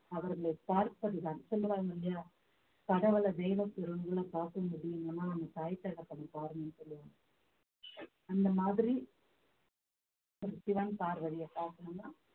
அவர்களை பார்ப்பதுதான் சொல்லுறாங்க இல்லையா கடவுளை தெய்வ பார்க்க முடியும்ன்னா தாய் தகப்பன் பாருங்கன்னு சொல்லுவாங்க அந்த மாதிரி சிவன் பார்வதியை பார்க்கணும்ன்னா